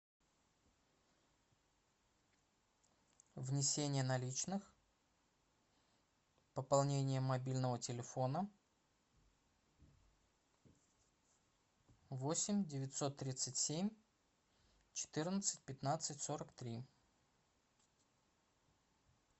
внесение наличных пополнение мобильного телефона восемь девятьсот тридцать семь четырнадцать пятнадцать сорок три